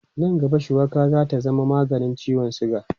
Nan gaba, shuwaka za ta zama maganin ciwon siga.